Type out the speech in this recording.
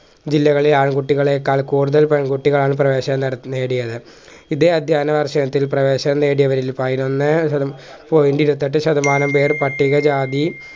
ജില്ലകളിൽ ആൺകുട്ടികളേക്കാൾ കൂടുതൽ പെൺകുട്ടികളാണ് പ്രവേശനം നട നേടിയത് ഇതേ അധ്യയന വർഷത്തിൽ പ്രവേശനം നേടിയവരിൽ പയിനോന്നെ ശത point ഇരുപത്തെട്ട് ശതമാനം പേര് പട്ടികജാതി